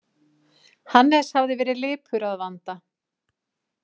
Hannes hafði verið lipur að vanda.